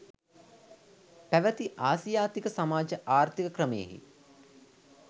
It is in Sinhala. පැවති ආසියාතික සමාජ ආර්ථීක ක්‍රමයෙහි